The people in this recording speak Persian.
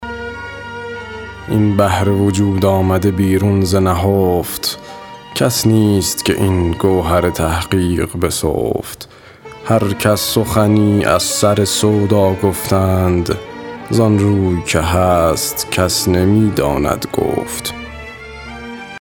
این بحر وجود آمده بیرون ز نهفت کس نیست که این گوهر تحقیق بسفت هر کس سخنی از سر سودا گفتند ز آن روی که هست کس نمی داند گفت